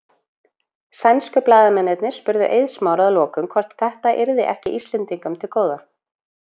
Sænsku blaðamennirnir spurðu Eið Smára að lokum hvort þetta yrði ekki Íslendingum til góða?